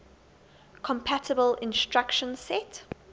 compatible instruction set